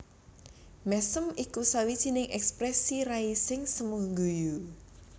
Mèsem iku sawijining èksprèsi rai sing semu guyu